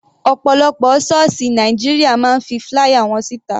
Ọ̀pọ̀lọpọ̀ sọ́ọ̀sì Nàìjíríà máa ń fi flier wọn sí ta.